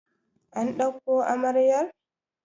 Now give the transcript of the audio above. an dauko amaryar!